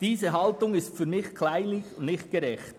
Diese Haltung ist aus meiner Sicht kleinlich und nicht gerecht.